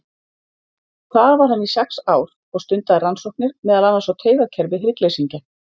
Þar var hann í sex ár og stundaði rannsóknir, meðal annars á taugakerfi hryggleysingja.